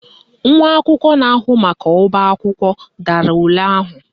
Nwa akwụkwọ na-ahụ maka ọbaakwụkwọ dara ule ahụ